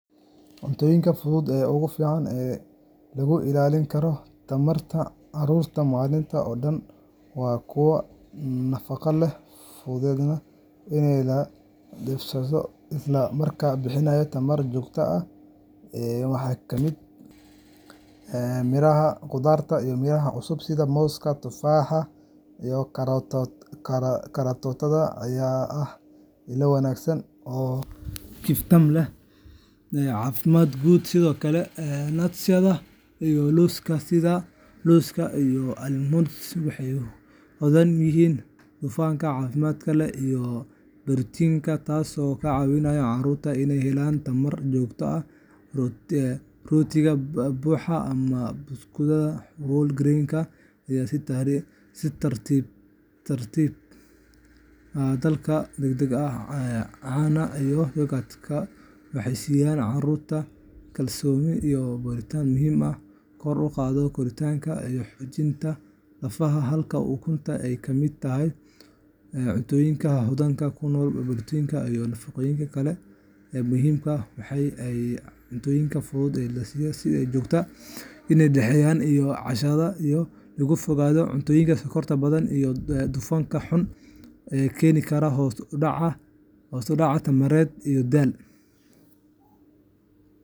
Cuntooyinka fudud ee ugu fiican ee lagu ilaalin karo tamarta carruurta maalinta oo dhan waa kuwa nafaqo leh, fududna in la dheefshiido isla markaana bixiya tamar joogto ah. Khudradda iyo miraha cusub sida mooska, tufaaxa, iyo karootada ayaa ah ilo wanaagsan oo fiitamiin iyo macdanno leh, kuwaas oo kor u qaada caafimaadka guud. Sidoo kale, nuts-yada iyo lowska sida lawska iyo almonds waxay hodan ku yihiin dufanka caafimaadka leh iyo borotiinka, taasoo ka caawisa carruurta inay helaan tamar joogto ah. Rootiga buuxa ama buskudka whole grain-ka ayaa si tartiib tartiib ah u sii daaya tamarta, taasoo ka hortagta daalka degdega ah. Caanaha iyo yogurt-ka waxay siiyaan carruurta kalsiyum iyo borotiin muhiim ah oo kor u qaada korriinka iyo xoojinta lafaha, halka ukunta ay ka mid tahay cunnooyinka hodanka ku ah borotiinka iyo nafaqooyinka kale ee muhiimka ah. Waxaa muhiim ah in cuntooyinkan fudud loo siiyo carruurta si joogto ah inta u dhexeysa qadada iyo cashada, iyadoo laga fogaanayo cuntooyinka sokorta badan iyo dufanka xun ee keeni kara hoos u dhac tamareed iyo daal.